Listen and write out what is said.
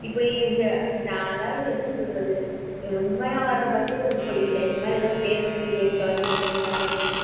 அதாவது நான் என்ன சொல்றது உண்மையா வர bus உருப்படியா இல்ல இந்த மாதிரி ஏதாவது பேய் bus ல ஏறி தொலஞ்சிடோம்னா என்ன ஆகிறது?